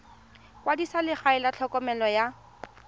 kwadisa legae la tlhokomelo ya